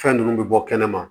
Fɛn ninnu bɛ bɔ kɛnɛma